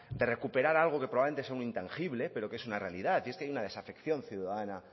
de recuperar algo que probablemente sea un intangible pero que es una realidad y es que hay una desafección ciudadana